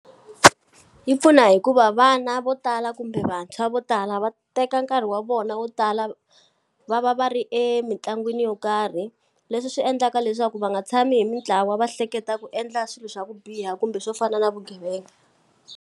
Yi pfuna hi ku va vana vo tala kumbe vantshwa vo tala va teka nkarhi wa vona vo tala va va va va ri emitlangwini yo karhi, leswi swi endlaka leswaku va nga tshami hi mitlawa va hleketa ku endla swilo swa ku biha kumbe swo fana na vugevenga.